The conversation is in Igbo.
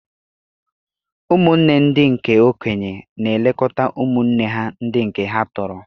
Ụmụnne ndị nke okenye na-elekọta ụmụnne ha ndị nke ha tọrọ.